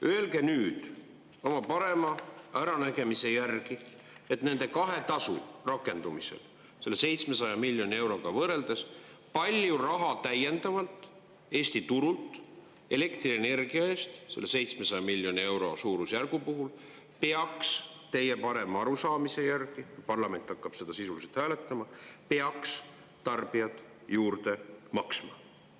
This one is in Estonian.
Öelge nüüd oma parema äranägemise järgi, nende kahe tasu rakendumisel selle 700 miljoni euroga võrreldes, palju raha täiendavalt Eesti turult elektrienergia eest selle 700 miljoni euro suurusjärgu puhul peaks teie parema arusaamise järgi – parlament hakkab seda sisuliselt hääletama – tarbijad juurde maksma.